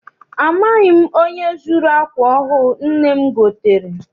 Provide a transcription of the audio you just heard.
Amaghị m onye zuru akwa ọhụụ nne m gotere.